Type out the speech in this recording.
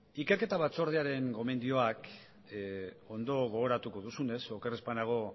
ikerketa batzordearen gomendioak ondo gogoratuko duzunez oker ez banago